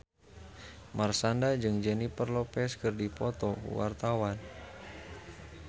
Marshanda jeung Jennifer Lopez keur dipoto ku wartawan